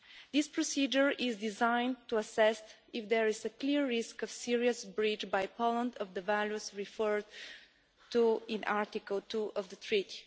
This procedure is designed to assess if there is a clear risk of serious breach by Poland of the values referred to in Article 2 of the Treaty.